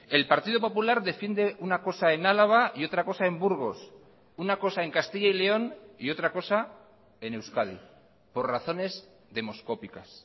el partido popular defiende una cosa en álava y otra cosa en burgos una cosa en castilla y león y otra cosa en euskadi por razones demoscópicas